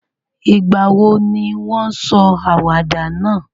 Ìgbàwo ni won sọ àwàdà náà?